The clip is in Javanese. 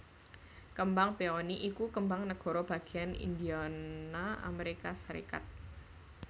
Kembang peony iku kembang negara bagéyan Indiana Amérika Sarékat